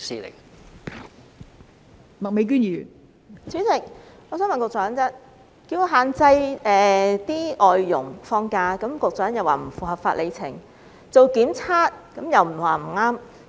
代理主席，要限制外傭放假，局長表示不符合法、理、情，強制檢測又說不可行。